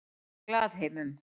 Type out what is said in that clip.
Glaðheimum